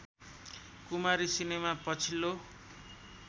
कुमारी cinema पछिल्लो